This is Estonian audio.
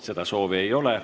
Seda soovi ei ole.